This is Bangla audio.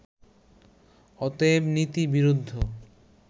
অতএব নীতিবিরুদ্ধ